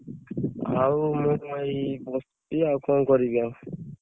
ଆଉ ମୁଁ ଏଇ ବସଛି ଆଉ କଣ କରିବି ଆଉ?